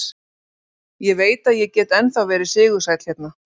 Ég veit að ég get ennþá verið sigursæll hérna.